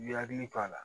I bi hakili to a la